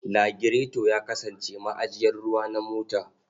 Lagireto ya kasance ma'ajiyar ruwa na mota.